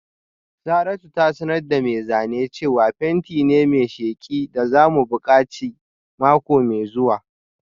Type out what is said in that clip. Saratu za ta sanar da mai zane cewa fenti ne mai sheki da za mu buƙaci mako mai zuwa